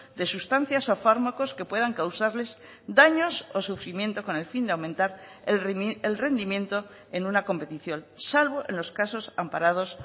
de sustancias o fármacos que puedan causarles daños o sufrimiento con el fin de aumentar el rendimiento en una competición salvo en los casos amparados